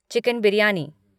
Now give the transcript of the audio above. chicken biryani